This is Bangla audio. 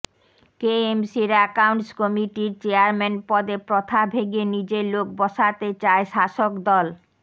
কেএমসির অ্যাকাউন্টস কমিটির চেয়ারম্যান পদে প্রথা ভেঙে নিজের লোক বসাতে চায় শাসক দল